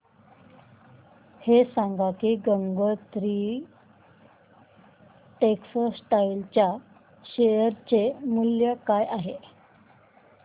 हे सांगा की गंगोत्री टेक्स्टाइल च्या शेअर चे मूल्य काय आहे